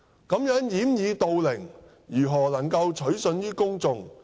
如此掩耳盜鈴，如何能夠取信於公眾？